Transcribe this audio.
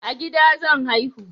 A gida zan haihu